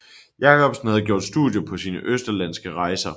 Jacobsen havde gjort studier på sine østerlandske rejser